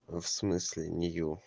а в смысле нее